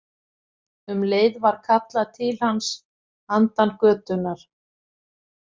Um leið var kallað til hans handan götunnar.